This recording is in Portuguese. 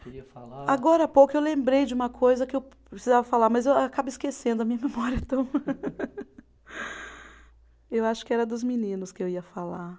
Queria falar. Agora há pouco eu lembrei de uma coisa que eu precisava falar, mas eu acabo esquecendo, a minha memória é tão. Eu acho que era dos meninos que eu ia falar.